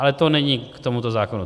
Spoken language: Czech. Ale to není k tomuto zákonu.